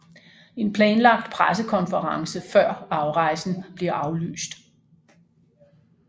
En planlagt pressekonference før afrejsen bliver aflyst